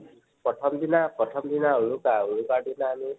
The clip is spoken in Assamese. প্ৰথম দিনা, প্ৰথম দিনা উৰুকাৰ দিনা আমি